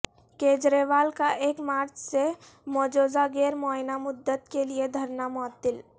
کیجریوال کا ایک مارچ سے مجوزہ غیرمعینہ مدت کے لیے دھرنا معطل